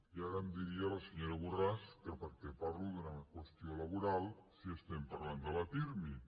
i ara em diria la senyora borràs que per què parlo d’una qüestió laboral si estem parlant de la pirmi